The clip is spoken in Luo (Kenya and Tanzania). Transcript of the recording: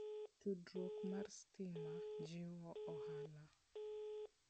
Tudruok mar stima jiwo ohala.